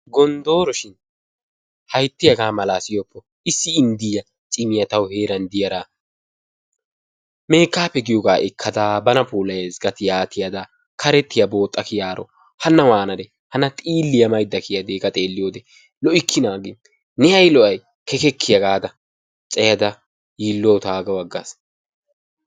Gondoro shin haytti haga mala siyoppo, issi indiyaa cimmiyaa taawu heran de'iyaara, mekappe giyogaa ekkaddaa banaa pulayayissi gadda tiya tiyaadaa, karettiyaa boxxaa kiyaroo, hana wanaree hana xiliyaa maydaa kiyadde gaa xeliyodde, lo'ikkinna ginni ne ay lo'ay kekkekiyaa gada cayadaa yiluwawu tagawu agaasi.